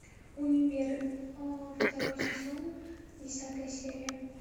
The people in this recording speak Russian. универ второй сезон десятая серия